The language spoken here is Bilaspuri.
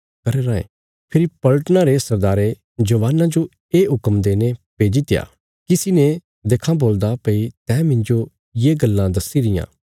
फेरी पलटना रे सरदारे जवानां जो ये हुक्म देईने भेजित्या किसी ने देखां बोलदा भई तैं मिन्जो ये गल्लां दस्सी रियां